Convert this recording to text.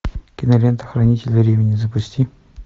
кинолента хранители времени запусти